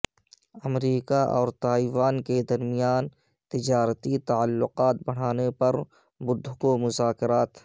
امریکہ اور تائیوان کے درمیان تجارتی تعلقات بڑھانے پر بدھ کو مذاکرات